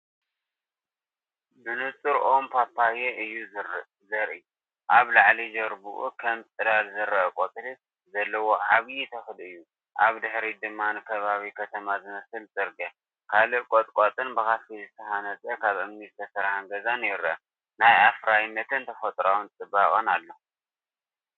ብንጹር ኦም ፓፓዮ እዩ ዘርኢ። ኣብ ላዕሊ ጅርባኡ ከም ጽላል ዝረአ ቆጽሊ ዘለዎ ዓቢ ተኽሊ እዩ። ኣብ ድሕሪት ድማ ንከባቢ ከተማ ዝመስል ጽርግያ፡ ካልእ ቁጥቋጥን ብኸፊል ዝተሃንጸ ካብ እምኒ ዝተሰርሐ ገዛን ይርአ። ናይ ኣፍራይነትን ተፈጥሮኣዊ ጽባቐን ኣሎ።